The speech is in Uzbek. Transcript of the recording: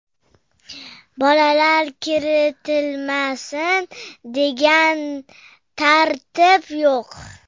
Bolalar kiritilmasin, degan tartib yo‘q.